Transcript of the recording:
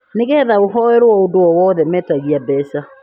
nĩgetha ũhoerwo ũndũ o wothe, metagia mbeca